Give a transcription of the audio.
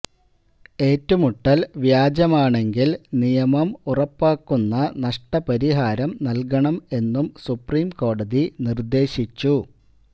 ഏറ്റുമുട്ടല് വ്യാജമാണെങ്കിൽ നിയമം ഉറപ്പാക്കുന്ന നഷ്ടപരിഹാരം നല്കണം എന്നും സുപ്രീംകോടതി നിര്ദ്ദേശിച്ചു